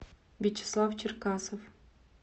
вячеслав черкасов